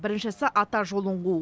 біріншісі ата жолын қуу